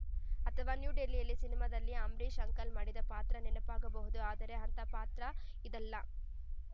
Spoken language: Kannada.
ಅಥವಾ ನ್ಯೂ ಡೆಲ್ಲಿ ಸಿನಿಮಾದಲ್ಲಿ ಅಂಬರೀಷ್‌ ಅಂಕಲ್‌ ಮಾಡಿದ್ದ ಪಾತ್ರ ನೆನಪಾಗಬಹುದು ಆದ್ರೆ ಅಂತಹ ಪಾತ್ರ ಇದಲ್ಲ